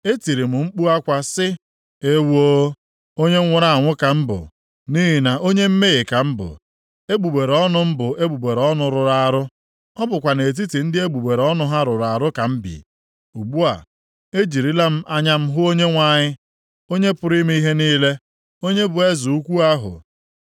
Etiri m mkpu akwa sị. “Ewoo! Onye nwụrụ anwụ ka m bụ, nʼihi na onye mmehie ka m bụ, egbugbere ọnụ m bụ egbugbere ọnụ rụrụ arụ; ọ bụkwa nʼetiti ndị egbugbere ọnụ ha rụrụ arụ ka m bi. Ugbu a, ejirila m anya m hụ Onyenwe anyị, Onye pụrụ ime ihe niile, onye bụ Eze ukwu ahụ!”